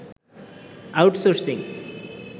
outsourcing